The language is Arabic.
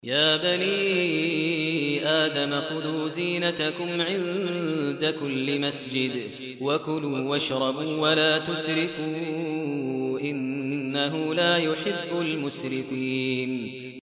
۞ يَا بَنِي آدَمَ خُذُوا زِينَتَكُمْ عِندَ كُلِّ مَسْجِدٍ وَكُلُوا وَاشْرَبُوا وَلَا تُسْرِفُوا ۚ إِنَّهُ لَا يُحِبُّ الْمُسْرِفِينَ